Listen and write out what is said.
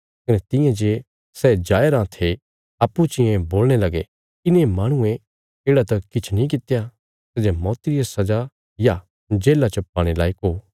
कने तियां जे सै जाया राँ थे अप्पूँ चियें बोलणे लगे इने माहणुये येढ़ा त किछ नीं कित्या सै जे मौती रिया सजा या जेल्ला च पाणे लायक हो